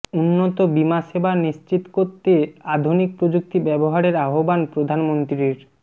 উন্নত বীমা সেবা নিশ্চিত করতে আধুনিক প্রযুক্তি ব্যবহারের আহ্বান প্রধানমন্ত্রীর